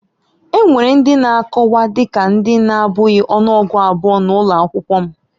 Enwere ndị na-akọwa dị ka ndị na-abụghị ọnụọgụ abụọ na ụlọ akwụkwọ m